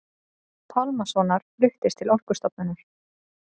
Pálmasonar fluttist til Orkustofnunar.